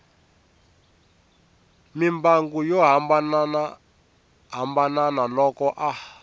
mimbangu yo hambanahambana loko a